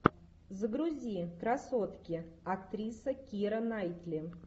загрузи красотки актриса кира найтли